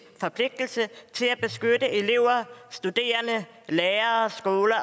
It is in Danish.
forpligtelse til at beskytte elever studerende lærere skoler